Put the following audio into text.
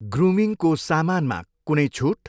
ग्रुमिङ्गको समानमा कुनै छुट?